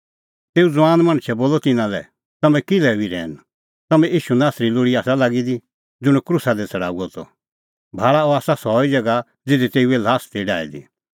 तेऊ ज़ुआन मणछै बोलअ तिन्नां लै तम्हैं किल्है हुई रहैन तम्हैं ईशू नासरी लोल़ी आसा लागी दी ज़ुंण क्रूसा दी छ़ड़ाऊअ त भाल़ा सह हुअ ज़िऊंदअ और सह निं इधी आथी भाल़ा अह आसा सह ई ज़ैगा ज़िधी तेऊए ल्हास ती डाही दी